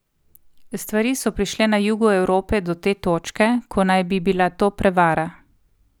Stvari so prišle na jugu Evrope do te točke, ko naj bi bila to prevara.